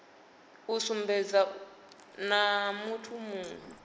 sumbedza uri naa muthu muwe